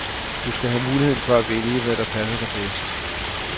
Du skal have muligheden for at vælge, hvad der passer dig bedst.